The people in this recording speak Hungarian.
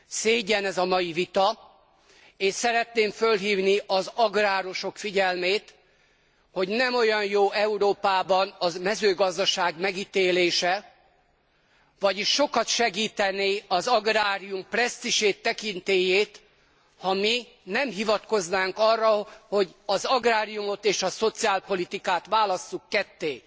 Szégyen ez a mai vita, és szeretném fölhívni az agrárosok figyelmét, hogy nem olyan jó Európában a mezőgazdaság megítélése, vagyis sokat segítené az agrárium presztízsét, tekintélyét, ha mi nem hivatkoznánk arra, hogy az agráriumot és a szociálpolitikát válasszuk ketté.